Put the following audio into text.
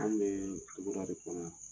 An bɛ bɔra ka